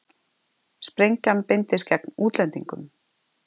Sprengjan beindist gegn útlendingum